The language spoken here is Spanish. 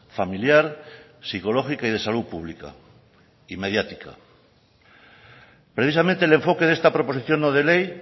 familiar psicológica y de salud pública y mediática precisamente el enfoque de esta proposición no de ley